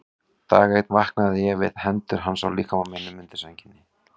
Dag einn vaknaði ég við hendur hans á líkama mínum undir sænginni.